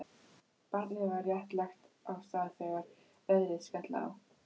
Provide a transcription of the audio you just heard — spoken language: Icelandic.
Barnið var rétt lagt af stað þegar veðrið skall á.